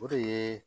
O de ye